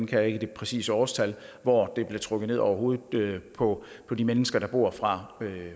kan ikke det præcise årstal hvor det blev trukket ned over hovedet på på de mennesker der bor fra